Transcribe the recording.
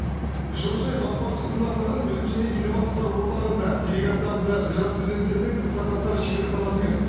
жылыжай бағбаншылығына арналған білім және инновациялар орталығында делегациямызды жас студенттердің стартаптар шеберханасымен